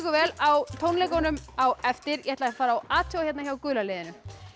vel á tónleikunum á eftir ég ætla að fara og athuga hérna hjá gula liðinu